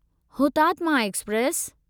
Hutatma express